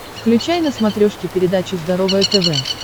включай на смотрешке передачу здоровое тв